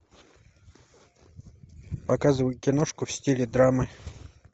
показывай киношку в стиле драмы